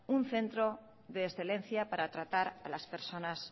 un centro de excelencia para tratar a las personas